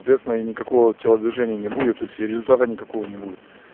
соответственно и никакого телодвижения не будет то есть и результата никакого не будет